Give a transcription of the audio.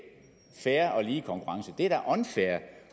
fair og lige konkurrence